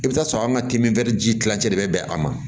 I bɛ t'a sɔrɔ an ka kiimɛni ji kilancɛ de bɛ bɛn a ma